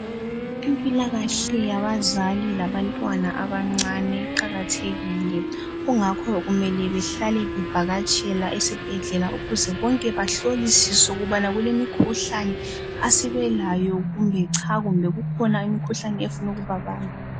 Impilakahle yabazali labantwana abancane iqakathekile, kungakho kumele bahlale bevakatshela esibhedlela ukuze bonke bahlolisiswe ukubana kulemikhuhlane asebelayo kumbe cha kumbe kukhona imikhuhlane esifuna ukubabamba.